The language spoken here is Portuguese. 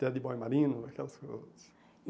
Teddy Boy Marino, aquelas coisas. E